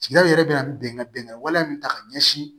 Sigidaw yɛrɛ bɛna bɛnkan bɛnga wale min ta k'a ɲɛsin